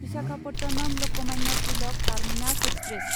Visakhapatnam Lokmanya Tilak terminus express